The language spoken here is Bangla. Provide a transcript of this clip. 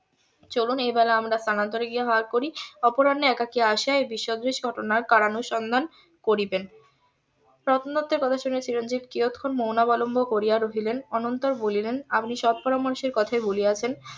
চলুন এইবেলা আমরা স্থানান্তরে গিয়ে আহার করি অপরাহ্নে একাকী আসিয়া এ বিষয়ে কারানুসন্ধান করিবেন রত্না দত্তের কথা শুনে চিরঞ্জিব কিয়ৎক্ষণ মৌন অবলম্বন করিয়া রহিলেন অনন্তর বলিলেন আপনি সৎ পরামর্শের কথায় বলিয়াছেন